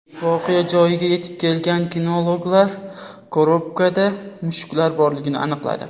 Voqea joyiga yetib kelgan kinologlar korobkada mushuklar borligini aniqladi.